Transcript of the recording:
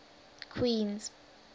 queens